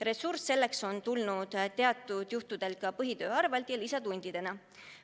Ressurss selleks on tulnud teatud juhtudel ka põhitöö arvel ja lisatundidena.